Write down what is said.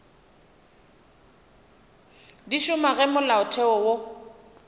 di šoma ge molaotheo wo